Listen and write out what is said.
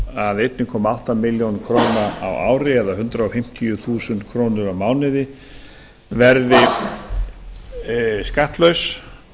að einn komma átta milljónir króna á ári eða hundrað fimmtíu þúsund krónur á mánuði verði skattlaus